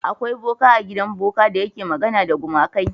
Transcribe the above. Akwa boka a gidan boka da yake magana da gumakai.